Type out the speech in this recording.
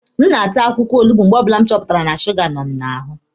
A na m ata akwụkwọ olugbo mgbe ọbụla m chọpụtara na suga nọ m n'ahụ.